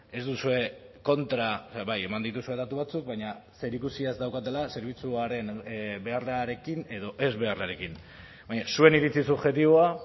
ez duzue kontra bai eman dituzue datu batzuk baina zerikusia ez daukatela zerbitzuaren beharrarekin edo ez beharrarekin baina zuen iritzi subjektiboa